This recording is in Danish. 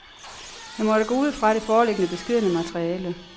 Han måtte gå ud fra det foreliggende beskedne materiale.